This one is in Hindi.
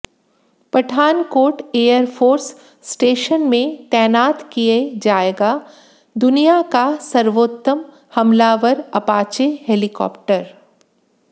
पठानकोट एयरफोर्स स्टेशन में तैनात किए जाएगा दुनिया का सर्वोत्तम हमलावर अपाचे हेलीकॉप्टर